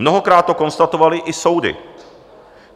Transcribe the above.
Mnohokrát to konstatovaly i soudy.